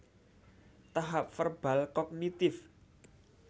Tahap Verbal Kognitif